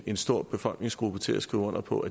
en stor befolkningsgruppe til at skrive under på